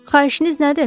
Xahişiniz nədir?